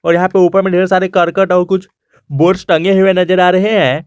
और यहां पे ऊपर में ढेर सारे करकट और कुछ बोर्ड्स टंगे हुए नजर आ रहे है।